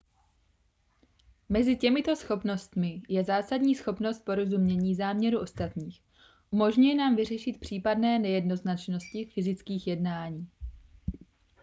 mezi těmito schopnostmi je zásadní schopnost porozumění záměru ostatních umožňuje nám vyřešit případné nejednoznačnosti fyzických jednání